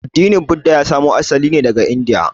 Addinin Buda ya samo asali ne daga Indiya.